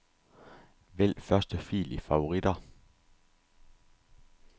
Vælg første fil i favoritter.